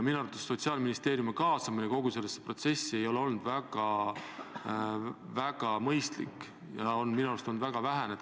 Minu arvates ei ole Sotsiaalministeeriumi kaasamine kogu sellesse protsessi olnud väga mõistlik, see on olnud väga vähene.